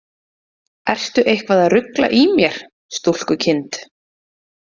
Ertu eitthvað að rugla í mér, stúlkukind?